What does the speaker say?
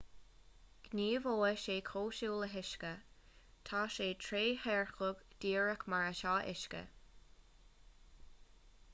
gníomhóidh sé cosúil le huisce tá sé trédhearcach díreach mar atá uisce